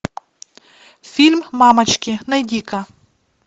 фильм мамочки найди ка